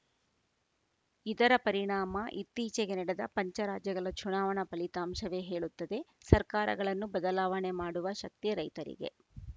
ಇದರ ಪರಿಣಾಮ ಇತ್ತೀಚೆಗೆ ನಡೆದ ಪಂಚರಾಜ್ಯಗಳ ಚುನಾವಣಾ ಫಲಿತಾಂಶವೇ ಹೇಳುತ್ತದೆ ಸರ್ಕಾರಗಳನ್ನು ಬದಲಾವಣೆ ಮಾಡುವ ಶಕ್ತಿ ರೈತರಿಗೆ